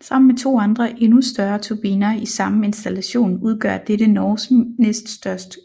Sammen med to andre endnu større turbiner i samme installation udgør dette Norges næst største